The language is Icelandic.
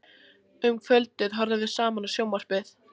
Um kvöldið horfðum við saman á sjónvarpið.